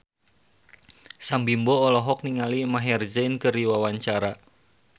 Sam Bimbo olohok ningali Maher Zein keur diwawancara